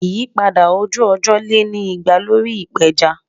Ìyípadà ojú-ọjọ le ni ìpà lórí ìpéjá.